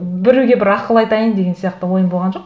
біреуге бір ақыл айтайын деген сияқты ойым болған жоқ